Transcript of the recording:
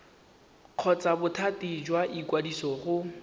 kgotsa bothati jwa ikwadiso go